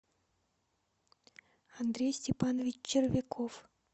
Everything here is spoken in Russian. андрей степанович червяков